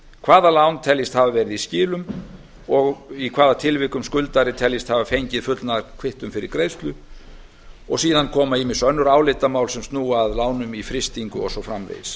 hvaða lán teljist hafa verið í skilum og í hvaða tilvikum skuldari teljist hafa fengið fullnaðarkvittun fyrir greiðslu síðan koma ýmis önnur álitamál sem snúa að lánum í frystingu og svo framvegis